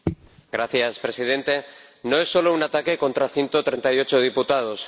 Señor Presidente, no es solo un ataque contra 138 diputados.